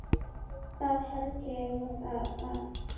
Það held ég að.